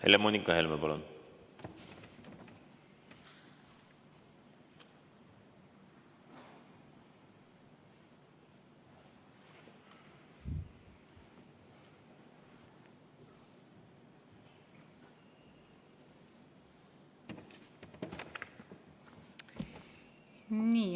Helle-Moonika Helme, palun!